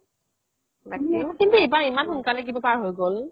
কিন্তু এইবাৰ ইমান খোনকলে শেষ হৈ গ'ল